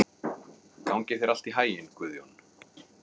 Gangi þér allt í haginn, Guðjón.